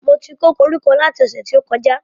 Mo ti kó koríko lati ọ̀sẹ̀ tó kọjá